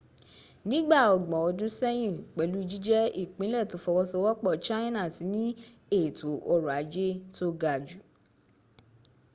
nígbà ọgbọ̀n ọdún sẹ́yìn, pẹ̀lú jíjẹ́ ìpínlẹ̀ tó fọwọ́sowọ́pọ̀ china ti ní ètò ọrọ̀ ajé tó ga jù